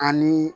Ani